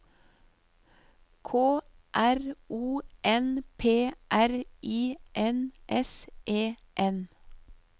K R O N P R I N S E N